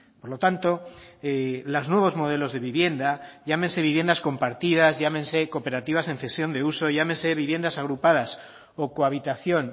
por lo tanto los nuevos modelos de vivienda llámense viviendas compartidas llámense cooperativas en cesión de uso llámense viviendas agrupadas o cohabitación